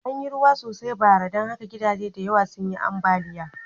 An yi ruwa sosai bara, don haka gidaje da yawa sun yi ambaliya.